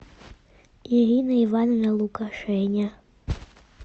ирина ивановна лукашеня